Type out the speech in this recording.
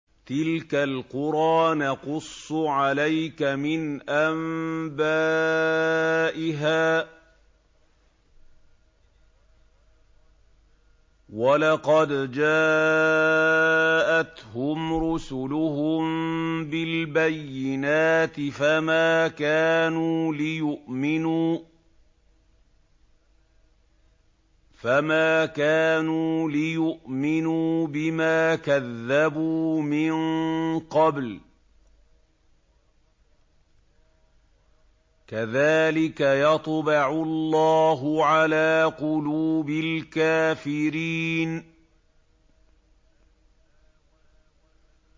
تِلْكَ الْقُرَىٰ نَقُصُّ عَلَيْكَ مِنْ أَنبَائِهَا ۚ وَلَقَدْ جَاءَتْهُمْ رُسُلُهُم بِالْبَيِّنَاتِ فَمَا كَانُوا لِيُؤْمِنُوا بِمَا كَذَّبُوا مِن قَبْلُ ۚ كَذَٰلِكَ يَطْبَعُ اللَّهُ عَلَىٰ قُلُوبِ الْكَافِرِينَ